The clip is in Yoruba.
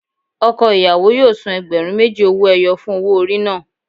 Ọkọ ìyàwó yóò san ẹgbẹ̀rún méjì owó ẹyọ fún owó orí náà.